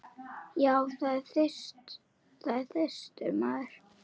Já, það er þyrstur maður.